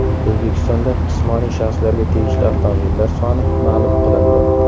O‘zbekistonda jismoniy shaxslarga tegishli avtomobillar soni ma’lum qilindi.